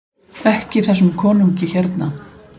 EKKI ÞESSUM KONUNGI HÉRNA!